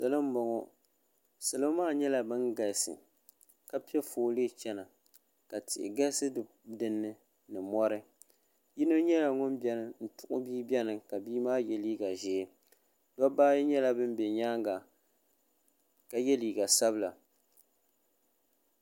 salo n bɔŋɔ salo maa nyɛla bin galisi ka piɛ foolii chɛna ka tihi galisi dinni ni mori yino nyɛla ŋun tuhu bia biɛni ka bia maa yɛ liiga ʒiɛ dabba ayi nyɛla bin bɛ nyaanga ka yɛ liiga sabila